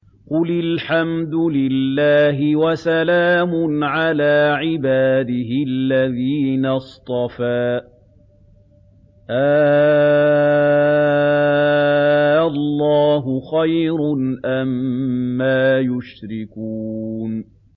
قُلِ الْحَمْدُ لِلَّهِ وَسَلَامٌ عَلَىٰ عِبَادِهِ الَّذِينَ اصْطَفَىٰ ۗ آللَّهُ خَيْرٌ أَمَّا يُشْرِكُونَ